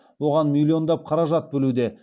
оған миллиондап қаражат бөлуде